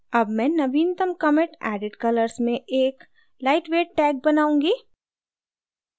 अब मैं नवीनतम commit added colors में एक lightweight tag बनाऊंगी